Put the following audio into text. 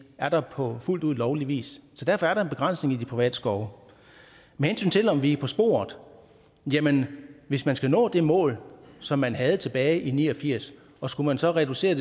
er der på fuldt ud lovlig vis så derfor er der en begrænsning i de private skove med hensyn til om vi er på sporet jamen hvis man skal nå det mål som man havde tilbage i nitten ni og firs og skulle man så reducere